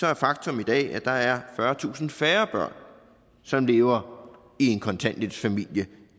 er faktum i dag at der er fyrretusind færre børn som lever i en kontanthjælpsfamilie